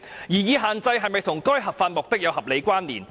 擬議限制是否與該合法目的有合理關連？